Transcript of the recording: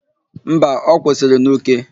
Mba, ọ kwụsịrị n'Uke.